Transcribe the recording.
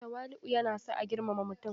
Tawali'u yana sa a girmama mutum.